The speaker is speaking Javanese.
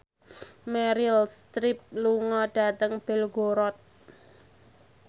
Meryl Streep lunga dhateng Belgorod